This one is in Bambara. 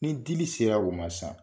Ni dili sera o ma sisan